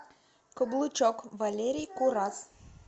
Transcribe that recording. каблучок валерий курас